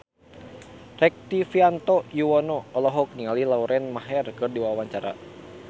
Rektivianto Yoewono olohok ningali Lauren Maher keur diwawancara